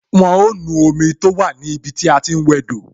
Wọn ó nu omi tó wà ní ibi tí a ti ń wẹ do